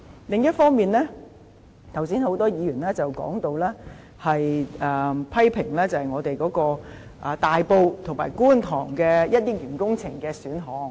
另一方面，剛才有多位議員批評大埔和觀塘的一些工程項目。